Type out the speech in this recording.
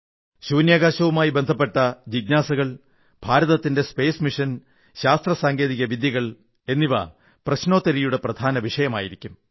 ബഹിരാകാശവുമായി ബന്ധപ്പെട്ട ജിജ്ഞാസകൾ ഭാരതത്തിന്റെ ശാസ്ത്ര ദൌത്യം ശാസ്ത്ര സാങ്കേതിക വിദ്യകൾ എന്നിവ പ്രശ്നോത്തരിയുടെ പ്രധാനവിഷയമായിരിക്കും